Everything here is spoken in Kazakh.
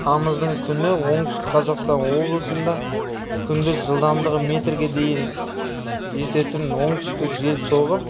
тамыздың күні оңтүстік қазақстан облысында күндіз жылдамдығы метрге дейін жететін оңтүстік жел соғып